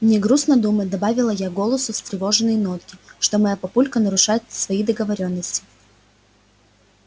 мне грустно думать добавила я голосу встревоженные нотки что моя папулька нарушает свои договорённости